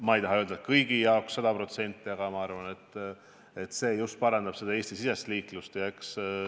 Ma ei taha öelda, et kõigi jaoks sada protsenti, aga arvan, et see parandab Eesti-sisest liiklust.